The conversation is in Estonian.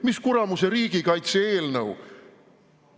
Mis kuramuse riigikaitse eelnõu?